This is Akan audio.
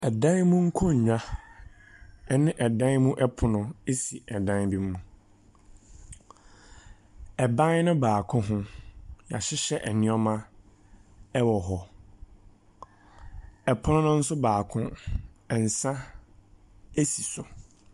Ɛdan mu nkonwa ɛne ɛdan mu ɛpono esi ɛdan bi mu, ɛban ne baako ho yahyehyɛ ɛnoɔma ɛwɔ hɔ, ɛpono no nso baako ɛnsa esi so.